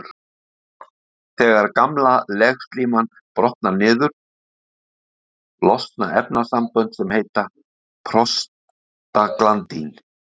Þegar gamla legslíman brotnar niður losna efnasambönd sem heita prostaglandín.